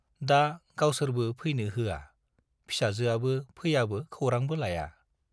दा गावसोरबो फैनो होआ, फिसाजोआबो फैयाबो खौरांबो लाया।